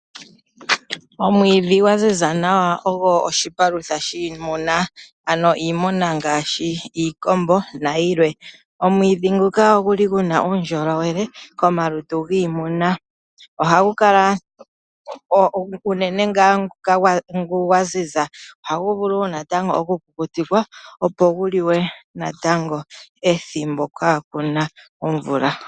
Omwiidhi gwaziza nawa ogwo oshipalutha shiimuna, ano iimuna ngaashi iikombo nayilwe. Omwiidhi nguka oguna uundjolowele komalutu giimuna. Ngono gwaziza nawa ohagu vulu oku kukutikwa gukaliwe kiimuna uuna kaa punasha iikulya.